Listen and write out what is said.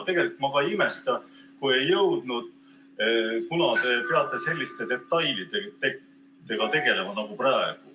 Tegelikult ma ka ei imesta, kui ei jõudnud, kuna te peate tegelema selliste detailidega nagu ka praegu.